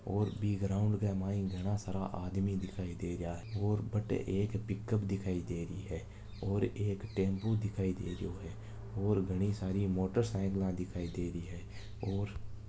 और बी ग्राउंड के मायन घना सारा आदमी दिखाई दे रहिया हैं और बटे एक पिकप दिखाई दे रही हैं और एक टेम्पू दिखाई दे रहियो हैं और घनी सारी मोटरसाइकिल दिखाई दे रही हैं और--